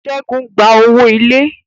Segun gba owó ilé.